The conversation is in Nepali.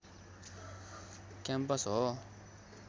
क्याम्पस हो